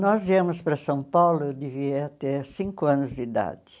Nós viemos para São Paulo devia ter cinco anos de idade.